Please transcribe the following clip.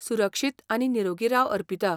सुरक्षीत आनी निरोगी राव अर्पिता.